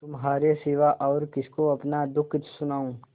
तुम्हारे सिवा और किसको अपना दुःख सुनाऊँ